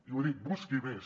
i ho ha dit busqui més